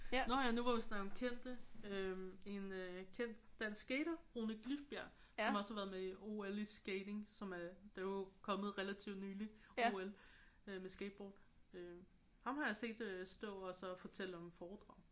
Nå ja nu hvor vi snakker om kendte. Øh en øh kendt dansk skater Rune Glifbjerg som også har været med i OL i skating som er det er jo kommet relativt nyligt OL øh med skateboard. Ham har jeg set stå at fortælle om foredrag